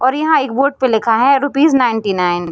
और यहाँ एक बोर्ड पर लिखा है रुपीस नाइनटी नाइन ।